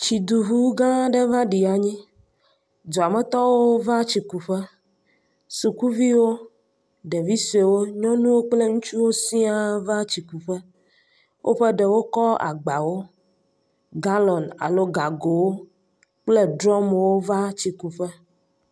Tsiduŋu gã aɖe va ɖi anyi, duametɔwo va tsi kuƒe, sukuviwo, ɖeviwo nyɔnuwo kple ŋutsuwo siaa va tsi kuƒe, wo dometɔ aɖewo va tsi kuƒe, woƒe ɖewo kɔ agbawo, galɔn alo gagowo kple drum va tsikuƒe.